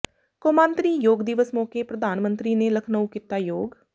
ਕੌਮਾਂਤਰੀ ਯੋਗ ਦਿਵਸ ਮੌਕੇ ਪ੍ਰਧਾਨ ਮੰਤਰੀ ਨੇ ਲਖਨਊ ਕੀਤਾ ਯੋਗ